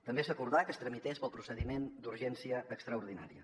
també s’acordà que es tramités pel procediment d’urgència extraordinària